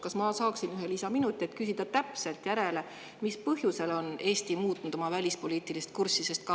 Kas ma saaksin ühe lisaminuti, et küsida täpselt järele, mis põhjusel on Eesti muutnud oma välispoliitilist kurssi?